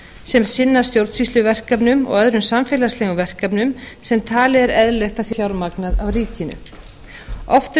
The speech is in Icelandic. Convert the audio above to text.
sem sinna stjórnsýsluverkefnum og öðrum samfélagslegum verkefnum sem talið er eðlilegt að séu fjármögnuð af ríkinu oft eru